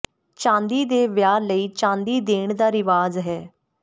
ਚਾਂਦੀ ਦੇ ਵਿਆਹ ਲਈ ਚਾਂਦੀ ਦੇਣ ਦਾ ਰਿਵਾਜ ਹੈ